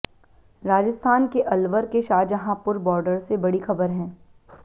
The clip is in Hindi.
राजस्थान के अलवर के शाहजहांपुर बॉर्डर से बड़ी खबर हैं